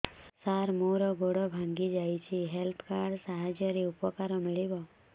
ସାର ମୋର ଗୋଡ଼ ଭାଙ୍ଗି ଯାଇଛି ହେଲ୍ଥ କାର୍ଡ ସାହାଯ୍ୟରେ ଉପକାର ମିଳିବ